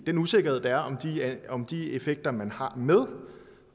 den usikkerhed der er om de effekter man har med